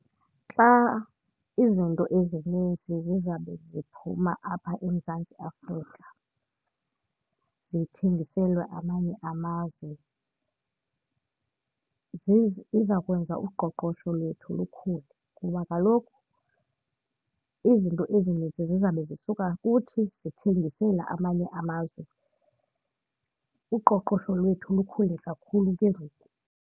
Xa izinto ezinintsi zizabe ziphuma apha eMzantsi Afrika zithengiselwa amanye amazwe ziza kwenza uqoqosho lwethu lukhule. Kuba kaloku izinto ezinintsi zizawube zisuka kuthi sithengisela amanye amazwe, uqoqosho lwethu lukhule kakhulu ke ngoku.